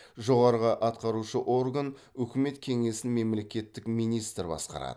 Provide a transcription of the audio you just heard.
жоғарғы атқарушы орган үкімет кеңесін мемлекеттік министр басқарады